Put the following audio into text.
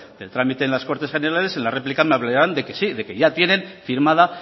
del trámite en las cortes generales en la réplica me hablarán de que sí que ya tienen firmada